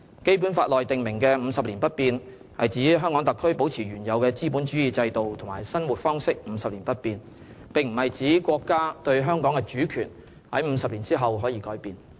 《基本法》內訂明的50年不變，是指香港特區保持原有的資本主義制度和生活方式50年不變，並不是指國家對香港的主權在50年後可以改變。